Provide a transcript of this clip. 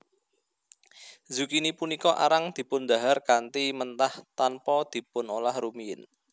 Zukini punika arang dipundhahar kanthi mentah tanpa dipunolah rumiyin